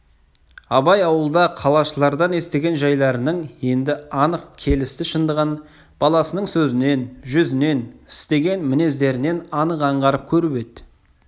абай ауылда қалашылардан естіген жайларының енді анық келісті шындығын баласының сөзінен жүзінен істеген мінездерінен анық аңғарып көріп еді